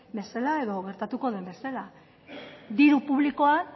bezala edo gertatu den bezala diru publikoan